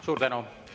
Suur tänu!